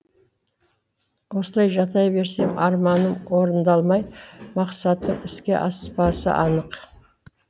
осылай жата берсем арманым орындалмай мақсатым іске аспасы анық